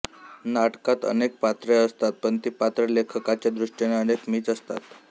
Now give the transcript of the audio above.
नाटकात अनेक पात्रे असतात पण ती पात्रे लेखकाच्या दृष्टीने अनेक मीच असतात